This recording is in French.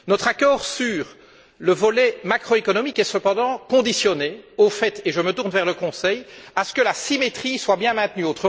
Notre accord sur le volet macroéconomique est cependant conditionné au fait et je me tourne vers le Conseil que la symétrie soit bien maintenue.